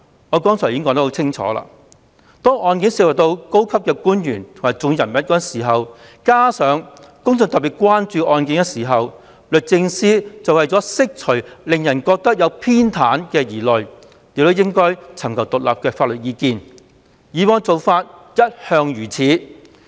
我剛才已清楚說明，當案件涉及高官或重要人物及引起公眾特別關注時，律政司為釋除令人覺得他們有所偏袒的疑慮，便應尋求獨立法律意見，以往的做法一向如此。